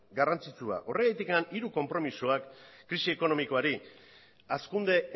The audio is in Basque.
garrantzitsu bat horregatik hiru konpromisoak krisi ekonomikoari hazkunde